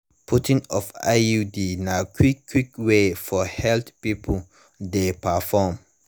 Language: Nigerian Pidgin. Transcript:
putting of iud na quick quick way for health people de perform